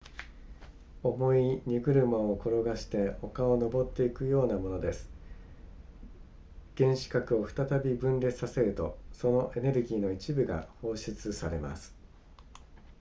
重い荷車を転がして丘を登っていくようなものです原子核を再び分裂させるとそのエネルギーの一部が放出されます